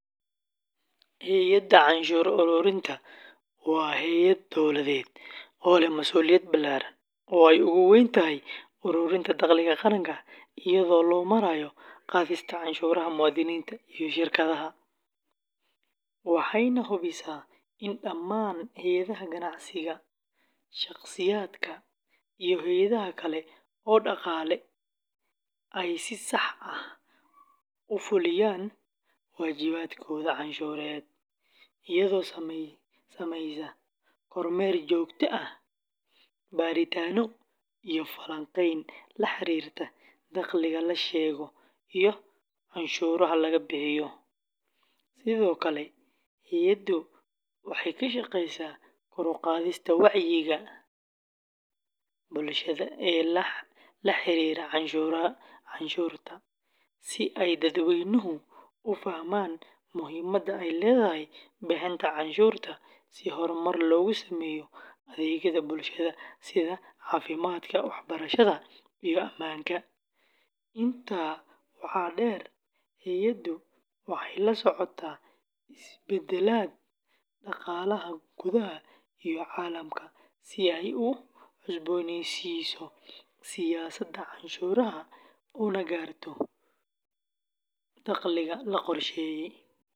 Hay’adda canshuur ururinta waa hay’ad dowladeed oo leh masuuliyad ballaaran oo ay ugu weyn tahay ururinta dakhliga qaranka iyada oo loo marayo qaadista canshuuraha muwaadiniinta iyo shirkadaha, waxayna hubisaa in dhammaan hay’adaha ganacsiga, shaqsiyaadka, iyo hay’adaha kale ee dhaqaale ay si sax ah u fuliyaan waajibaadkooda canshuureed, iyadoo samaysa kormeer joogto ah, baaritaanno iyo falanqeyn la xiriirta dakhliga la sheego iyo canshuuraha laga bixiyo; sidoo kale hay’addu waxay ka shaqeysaa kor u qaadista wacyiga bulshada ee la xiriira canshuurta, si ay dadweynuhu u fahmaan muhiimadda ay leedahay bixinta canshuurta si horumar loogu sameeyo adeegyada bulshada sida caafimaadka, waxbarashada, iyo ammaanka; intaa waxaa dheer, hay’addu waxay la socotaa isbeddellada dhaqaalaha gudaha iyo caalamka si ay u cusboonaysiiso siyaasadda canshuuraha una gaarto dakhliga la qorsheeyey.